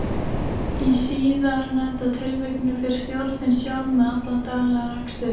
Í síðarnefnda tilvikinu fer stjórnin sjálf með allan daglegan rekstur.